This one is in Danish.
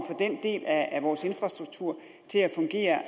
at af vores infrastruktur til at fungere